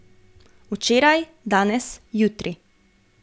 Včeraj, danes, jutri.